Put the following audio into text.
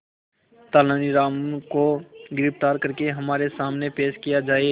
तेनालीराम को गिरफ्तार करके हमारे सामने पेश किया जाए